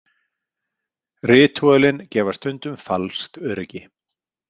Ritúölin gefa stundum falskt öryggi.